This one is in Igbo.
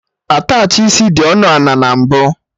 Attachị isi dị ọnụ ana na mbụ